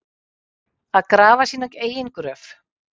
Að grafa sína eigin gröf